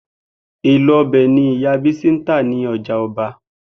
Èlò o̩bè̩ ni ìyá Bísí ń tà ní o̩jà o̩ba